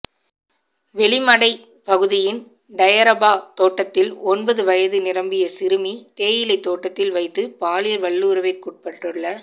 வெலிமடை பகுதியின் டயரபா தோட்டத்தில் ஒன்பது வயது நிரம்பிய சிறுமி தேயிலைத் தோட்டத்தில் வைத்து பாலியல் வல்லுறவிற்குட்படுத்தப்பட்டுள்